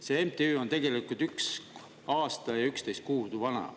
See MTÜ on tegelikult 1 aasta ja 11 kuud vana.